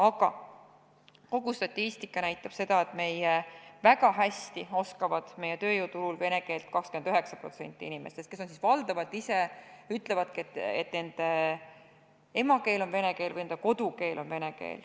Aga kogu statistika näitab seda, et väga hästi oskab meie tööjõuturul vene keelt 29% inimestest, kes valdavalt ise ütlevadki, et nende emakeel on vene keel või nende kodukeel on vene keel.